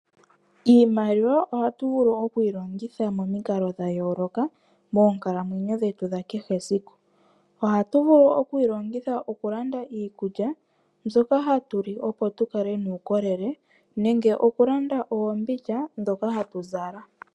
Iimaliwa ohatu vulu oku yi longitha momikalo dha yooloka moonkalamwenyo dhetu dha kehe esiku. Ohatu vulu oku yi longitha okulanda iikulya mbyoka hatu li, opo tu kale nuukolele nenge okulanda oombindja ndhoka hatu zala.